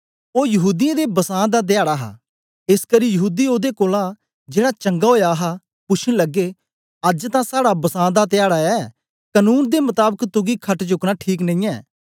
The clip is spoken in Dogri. ओ यहूदीयें दे बसां दा ध्याडा हा एसकरी यहूदी ओदे कोलां जेड़ा चंगा ओया हा पुशन लगे अज्ज तां साड़ा बसां दा ध्याड़ा ऐ कनून दे मताबक तुगी खट चुक्कना ठीक नेईयैं